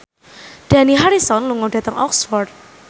Dani Harrison lunga dhateng Oxford